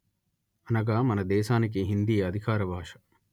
అనగా మన దేశానికి హిందీ అధికార భాష